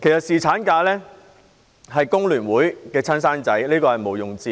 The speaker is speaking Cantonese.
侍產假是工聯會的"親生仔"，這點毋庸置疑。